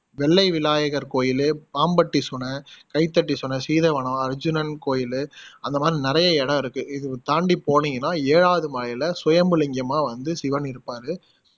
வெள்ளை விநாயகர் கோயிலு, பாம்பட்டி சுனை, சுனை, சீதவனம், அர்ஜுனன் கோயிலு, அந்த மாதிரி நிறைய இடம் இருக்கு இது தாண்டி போனிங்கன்னா ஏழாவது மலைல சுயம்புலிங்கமா வந்து சிவன் இருப்பாரு